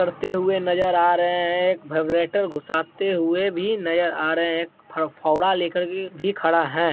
पड़ते हुए नजर आ रहे हैं भेवरेटर घुसाते हुए भी नजर आ रहें हैं फर फोड़ा लेकर गी भी खड़ा है।